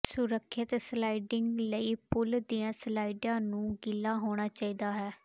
ਸੁਰੱਖਿਅਤ ਸਲਾਈਡਿੰਗ ਲਈ ਪੂਲ ਦੀਆਂ ਸਲਾਈਡਾਂ ਨੂੰ ਗਿੱਲਾ ਹੋਣਾ ਚਾਹੀਦਾ ਹੈ